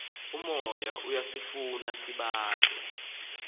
umoya iyasifuna isibane